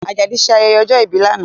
Ajadi ṣe ayẹyẹ ọjọ́ ìbí lánàá